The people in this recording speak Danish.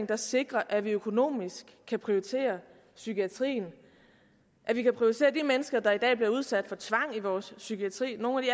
der sikrer at vi økonomisk kan prioritere psykiatrien vi kan prioritere de mennesker der i dag bliver udsat for tvang i vores psykiatri nogle af